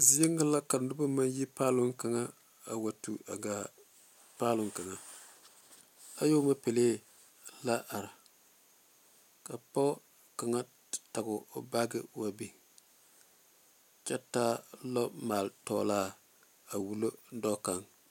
Zie ŋa la ka noba maŋ yi paaloŋ kaŋa a wa tu a gaa paaloŋ kaŋa ayɔɔma pelaa la are ka pɔge kaŋa tage o baage wa biŋ kyɛ taa lɔɔmaale tɔglaa a wullo dɔɔ kaŋ.